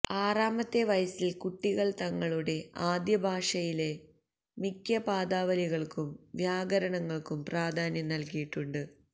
ആറാമത്തെ വയസ്സിൽ കുട്ടികൾ തങ്ങളുടെ ആദ്യ ഭാഷയിലെ മിക്ക പദാവലികൾക്കും വ്യാകരണങ്ങൾക്കും പ്രാധാന്യം നൽകിയിട്ടുണ്ട്